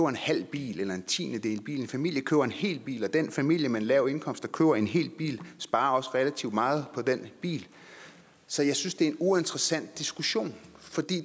en halv bil eller en tiendedel bil en familie køber en hel bil og den familie med en lav indkomst der køber en hel bil sparer også relativt meget på den bil så jeg synes det er en uinteressant diskussion